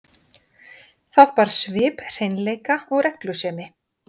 Það bar svip hreinleika og reglusemi.